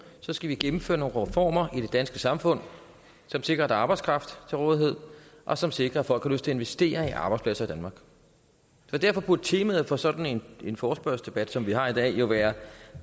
skal vi gennemføre nogle reformer i det danske samfund som sikrer at arbejdskraft til rådighed og som sikrer at folk har lyst investere i arbejdspladser i danmark derfor burde temaet for sådan en forespørgselsdebat som vi har i dag jo være